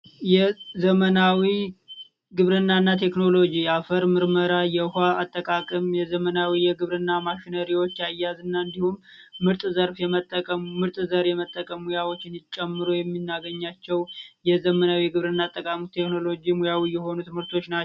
ዘመናዊ ግብርናና ቴክኖሎጂ የአፈር ምርመራ የውሃ አጠቃቀም የዘመናዊ የግብርና ማሽኖች አያያዝና እንዲሁም ምርጥ ዘርፍ የመጠቀም ምርጥ ዘር የመጠቀሙ ያወጪን ይጨምሩ የሚናገኛቸው የዘመናዊ ግብርና ቴክኖሎጂ የሆኑ ትምህርቶች ናቸው።